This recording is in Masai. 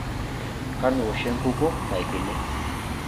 Kanu ewoshi enkukuo naigili?